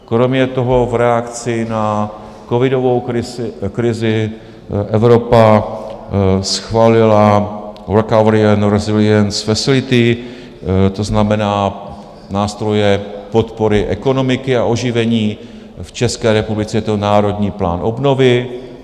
Kromě toho v reakci na covidovou krizi Evropa schválila Recovery and Resilience Facility, to znamená nástroje podpory ekonomiky a oživení, v České republice je to Národní plán obnovy.